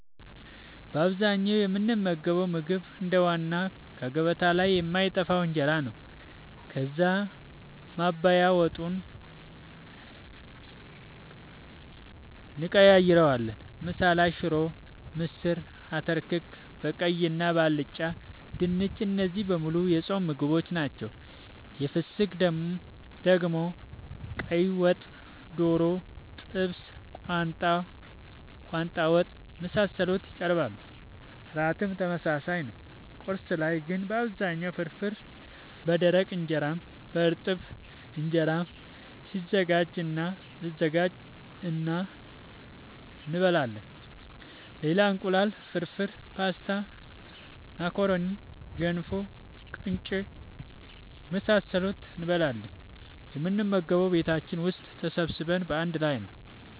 በአብዛኛው የምንመገበው ምግብ እንደ ዋና ከገበታ ላይ የማይጠፋው እንጀራ ነው። ከዛ ማባያ ወጡን እንቀያይረዋለን። ምሳ ላይ ሽሮ፣ ምስር፣ አተር ክክ በቀይ እና በአልጫ፣ ድንች እነዚህ በሙሉ የጾም ምግቦች ናቸው። የፍስክ ደግሞ ቀይወጥ፣ ዶሮ፣ ጥብስ፣ ቋንጣ ወጥ፣ የመሳሰሉት ይቀርባሉ። ራትም ተመሳሳይ ነው። ቁርስ ላይ ግን በአብዛኛው ፍርፍር በደረቅ እንጀራም በእርጥብ እንጀራም ይዘጋጅ እና እንበላለን ሌላ እንቁላል ፍርፍር፣ ፖስታ፣ ማካሮኒ፣ ገንፎ፣ ቂንጬ የመሳሰሉትን እንበላለን። የምንመገበውም ቤታችን ውስጥ ተሰብስበን በአንድ ላይ ነወ።